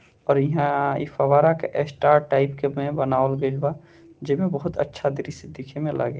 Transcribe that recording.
और यहां इ फव्वारा के स्टार टाइप में बनावल गइल बा जे मे बहुत अच्छा दृश्य दिखे में लागे --